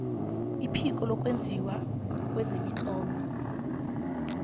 iphiko lokwenziwa kwemitlolo